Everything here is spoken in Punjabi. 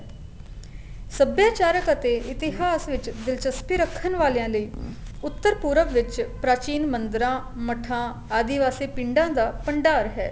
ਸੱਭਿਆਚਾਰਕ ਅਤੇ ਇਤਿਹਾਸ ਵਿੱਚ ਦਿਲਚਸਪੀ ਰੱਖਣ ਵਾਲਿਆ ਲਈ ਉੱਤਰ ਪੁਰਬ ਵਿੱਚ ਪ੍ਰਾਚੀਨ ਮੰਦਰਾ ਮਠਾ ਆਦੀਵਾਸੀ ਪਿੰਡਾ ਦਾ ਭੰਡਾਰ ਹੈ